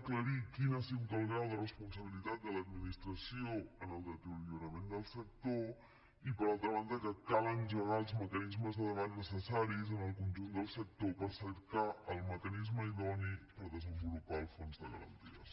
aclarir quin ha sigut el grau de responsabilitat de l’administració en el deteriorament del sector i per altra banda que cal engegar els mecanismes de debat necessaris en el conjunt del sector per cercar el mecanisme idoni per desenvolupar el fons de garanties